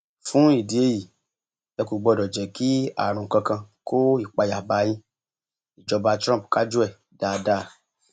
fún ìdí èyí ẹ kò gbọdọ jẹ kí àrùn kankan kó ìpayà bá a yin ìjọba trump kájú ẹ dáadáa